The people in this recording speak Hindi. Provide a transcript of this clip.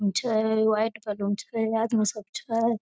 छै व्हाइट कलर रूम छै आदमी सब छै ।